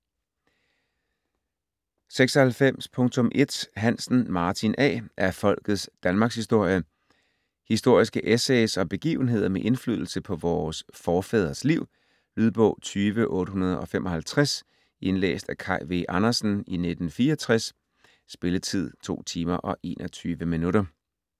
96.1 Hansen, Martin A.: Af folkets danmarkshistorie Historiske essays om begivenheder med indflydelse på vore forfædres liv. Lydbog 20855 Indlæst af Kaj V. Andersen, 1964. Spilletid: 2 timer, 21 minutter.